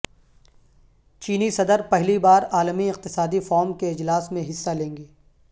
چینی صدرپہلی بار عالمی اقتصادی فورم کے اجلاس میں حصہ لیں گے